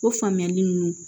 O faamuyali nunnu